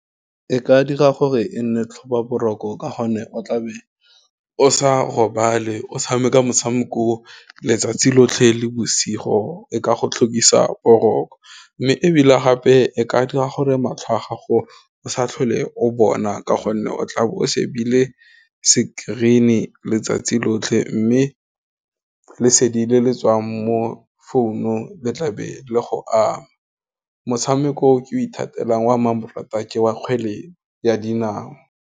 E ka dira gore e nne tlhoba boroko ka gonne o tlabe o sa robale o tshameka motshameko o letsatsi lotlhe le bosigo, e ka go tlhokisa boroko. Mme ebile gape e ka dira gore matlho a gago o sa tlhole o bona, ka gonne o tlabe o shebile screen-e letsatsi lotlhe, mme lesedi le le tswang mo founung le tlabe le go ama, motshameko o ke ithatela wa mmamoratwa ke wa kgwele ya dinao.